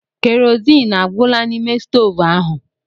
Keroziin agwụla n'ime stoovu ahụ?